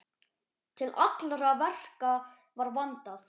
Til allra verka var vandað.